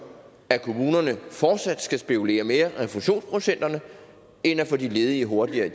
at kommunerne fortsat skal spekulere mere i refusionsprocenter end at få de ledige hurtigere